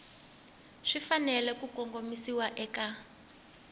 swi fanele ku kongomisiwa eka